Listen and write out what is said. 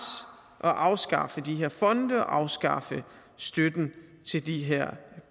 og afskaffe de her fonde afskaffe støtten til de her